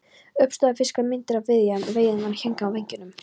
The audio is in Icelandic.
Uppstoppaðir fiskar, myndir af veiðiám og veiðimönnum héngu á veggjunum.